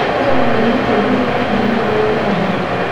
Nũ warĩ mũtongoria wa mbere wa ũganda?